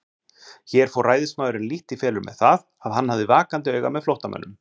Hér fór ræðismaðurinn lítt í felur með það, að hann hafði vakandi auga með flóttamönnum.